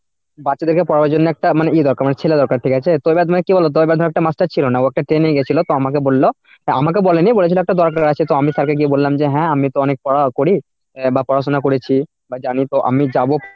বাচ্চাদেরকে পড়ানোর জন্য মানে একটা ই দরকার মানে ছেলের দরকার ঠিক আছে? তো এবার তোমায় কি বল তো এবার ধরো একটা master ছিল না ও একটা training এই গেছিল তো আমাকে বলল তা আমাকেও বলেনি বলেছিল একটা দরকার আছে তো আমি sir কে গিয়ে বললাম যে হ্যাঁ আমি তো অনেক পড়া করি বা পড়াশোনা করেছি বা জানি তো আমি যাব,